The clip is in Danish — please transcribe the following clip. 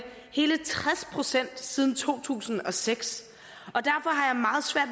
hele tres procent siden to tusind og seks